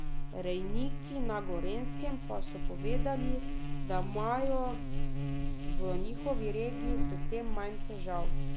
Rejniki na Gorenjskem pa so povedali, da imajo v njihovi regiji s tem manj težav.